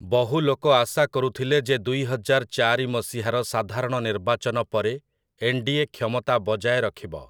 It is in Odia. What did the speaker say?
ବହୁ ଲୋକ ଆଶା କରୁଥିଲେ ଯେ ଦୁଇହଜାର ଚାରି ମସିହାର ସାଧାରଣ ନିର୍ବାଚନ ପରେ ଏନ୍‌ଡିଏ କ୍ଷମତା ବଜାୟ ରଖିବ ।